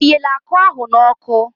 O yeele akụ ahụ n'ọkụ?